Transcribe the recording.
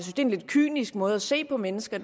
en lidt kynisk måde at se på mennesker